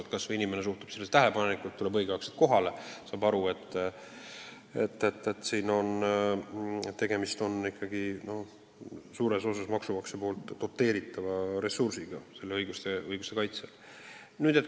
Kas või see, et inimene suhtub sellesse tõsiselt, tuleb õigel ajal kohale, saab aru, et tegemist on ikkagi suures osas maksumaksja rahaga tema õiguste kaitsel.